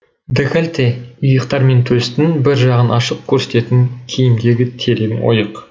декольте иықтар мен төстің бір жағын ашық көрсететін киімдегі терең ойық